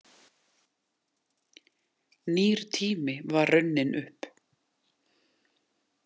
Nýr tími var runninn upp.